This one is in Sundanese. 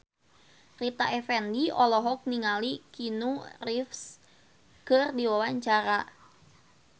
Rita Effendy olohok ningali Keanu Reeves keur diwawancara